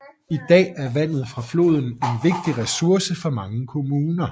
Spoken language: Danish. I dag er vandet fra floden en vigtig ressource for mange kommuner